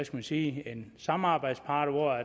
man sige en samarbejdspartner